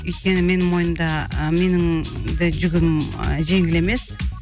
өйткені менің мойнымда ы менің де жүгім ы жеңіл емес